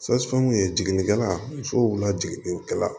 ye jiginnikɛla musow la jiginnikɛla